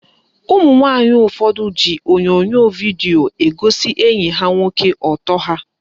Ụmụnwanyị ụfọdụ ji onyonyo vidio egosi enyi ha nwoke ọtọ ha